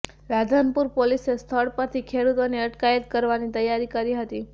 રાધનપુર પોલીસે સ્થળ પરથી ખેડુતોની અટકાયત કરવાની તૈયારી કરી હતી